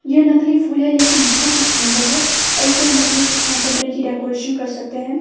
यह नकली फूल है लेकिन बहोत ही सुंदर है और इसे हम अपनी कमरे की डेकोरेशन कर सकते है।